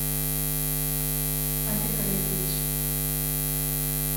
олег олегович